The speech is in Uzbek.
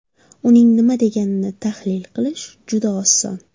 Uning nima deganini tahlil qilish juda oson.